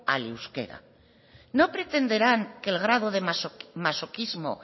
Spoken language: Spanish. al euskera no pretenderán que el grado de masoquismo